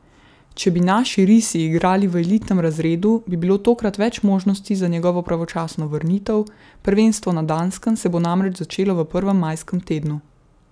Če bi naši risi igrali v elitnem razredu, bi bilo tokrat več možnosti za njegovo pravočasno vrnitev, prvenstvo na Danskem se bo namreč začelo v prvem majskem tednu.